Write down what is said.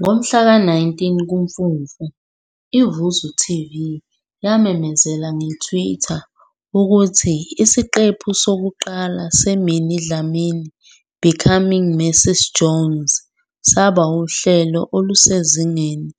Ngomhlaka 19 kuMfumfu, i-VuzuTV yamemezela nge-Twitter, ukuthi isiqephu sokuqala se-Minnie Dlamini- Becoming Mrs Jones saba uhlelo olusezingeni